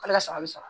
K'ale ka sabali sa